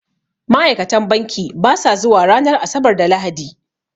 Ma'ikatan banki basa zuwa ranar Asabar da Lahadi